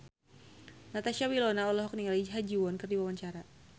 Natasha Wilona olohok ningali Ha Ji Won keur diwawancara